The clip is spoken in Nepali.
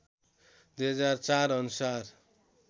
२००४ अनुसार